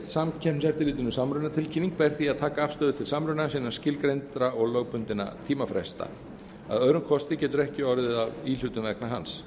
samkeppniseftirlitinu samrunatilkynning ber því að taka afstöðu til samrunans innan skilgreindra og lögbundinna tímafresta að öðrum kosti getur ekki orðið af íhlutun vegna hans